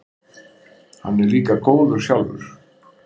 Hann er líka góður sjálfur.